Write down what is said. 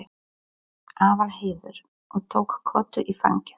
Aðalheiður og tók Kötu í fangið.